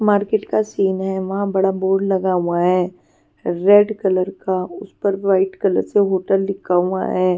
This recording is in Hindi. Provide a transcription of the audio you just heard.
मार्केट का सीन है वहां बड़ा बोर्ड लगा हुआ है रेड कलर का उस पर वाइट कलर से होटल लिखा हुआ है.